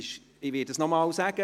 Ich werde es dann nochmals sagen.